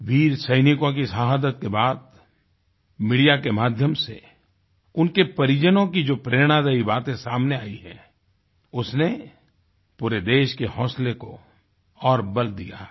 वीर सैनिकों की शहादत के बाद मीडिया के माध्यम से उनके परिजनों की जो प्रेरणादायी बातें सामने आयी हैं उसने पूरे देश के हौंसले को और बल दिया है